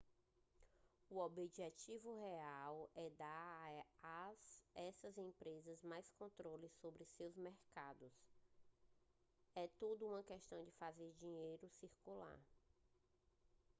o objetivo real é dar a essas empresas mais controle sobre seus mercados é tudo uma questão fazer o dinheiro circular